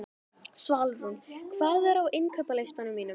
Svalrún, hvað er á innkaupalistanum mínum?